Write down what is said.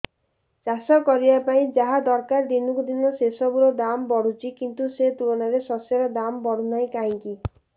ଚାଷ କରିବା ପାଇଁ ଯାହା ଦରକାର ଦିନକୁ ଦିନ ସେସବୁ ର ଦାମ୍ ବଢୁଛି କିନ୍ତୁ ସେ ତୁଳନାରେ ଶସ୍ୟର ଦାମ୍ ବଢୁନାହିଁ କାହିଁକି